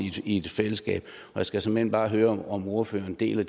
i et fællesskab jeg skal såmænd bare høre om ordføreren deler